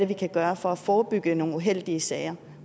vi kan gøre for at forebygge nogle uheldige sager